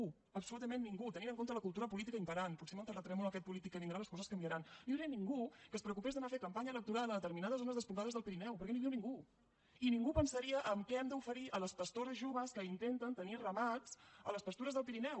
absolutament ningú tenint en compte la cultura política imperant potser amb el terratrèmol aquest polític que vindrà les coses canvia ran no hi hauria ningú que es preocupés d’anar a fer campanya electoral a determinades zones despoblades del pirineu perquè no hi viu ningú i ningú pensaria en què hem d’oferir a les pastores joves que intenten tenir ramats a les pastures del pirineu